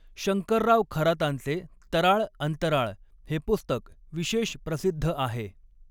शंकरराव खरातांचे तराळ अंतराळ हे पुस्तक विशेष प्रसिद्ध आहे.